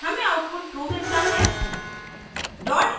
हमें output true मिलता है